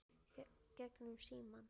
Gegnum símann.